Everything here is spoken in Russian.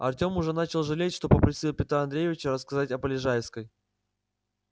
артём уже начал жалеть что попросил петра андреевича рассказать о полежайской